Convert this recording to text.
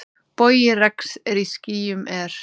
Bogi regns í skýjum er.